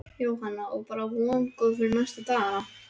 Jóhanna: Og bara vongóð fyrir næstu dagana?